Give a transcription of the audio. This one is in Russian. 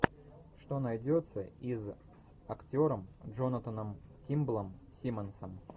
что найдется из с актером джонатаном кимблом симмонсом